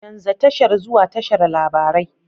Canza tashar zuwa tashar labarai.